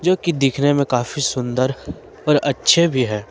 जो कि दिखने में काफी सुंदर और अच्छे भी है।